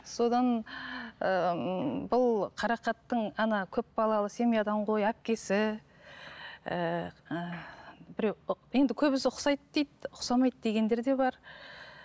содан ыыы бұл қарақаттың ана көп балалы семьядан ғой әпкесі ііі біреу енді көбісі ұқсайды дейді ұқсамайды дегендер де бар